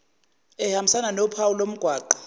ehambisana nophawu lomgwaqo